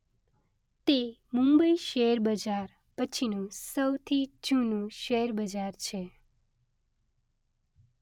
તે મુંબઇ શેર બજાર પછીનું સૌથી જૂનું શેર બજાર છે.